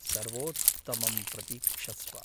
सर्वोत्तमं प्रतीक्षस्व।